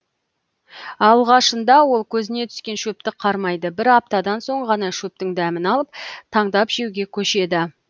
алғашында ол көзіне түскен шөпті қармайды бір аптадан соң ғана шөптің дәмін алып таңдап жеуге көшеді